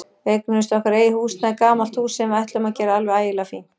Við eignuðumst okkar eigið húsnæði, gamalt hús sem við ætluðum að gera alveg ægilega fínt.